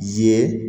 Ye